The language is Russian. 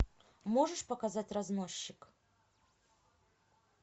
можешь показать разносчик